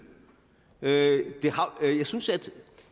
jeg synes at